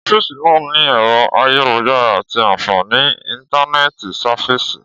Ọfisi náà ní ẹrọ ayélujára ati àǹfàní íntánẹ̀tì sáfíìsì